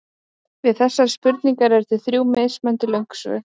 Við þessari spurningu eru til þrjú mismunandi löng svör.